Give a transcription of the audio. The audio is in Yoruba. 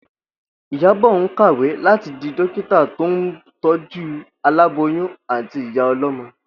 Ìyábò̩ ń kàwé láti di dókítà tó ń tó̩jú aláboyún àti ìyá o̩ló̩mo̩